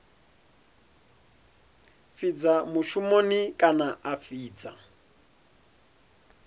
fhidza mushumoni kana a fhidza